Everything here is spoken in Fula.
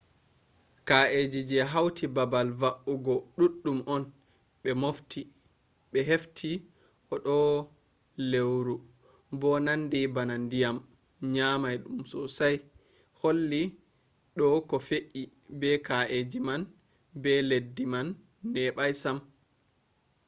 ka’eji je hauti baabal va’ugo duddum on be hefti a do leuru bo nandi bana dyam nyamai dum sosai holli do ko fe’i be ka’eji man be leddi man nebai sam